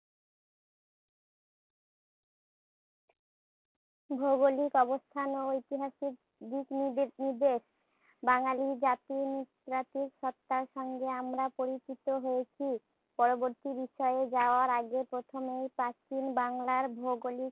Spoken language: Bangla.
ভৌগোলিক অবস্থান ও ঐতিহাসিক দিকনির্দে নির্দেশ। বাঙ্গালি জাতির জাতীয় সত্তার সঙ্গে আমরা পরিচিত হয়েছি। পরবর্তী বিষয়ে যাওয়ার আগে প্রথমেই প্রাচীন বাংলার ভৌগোলিক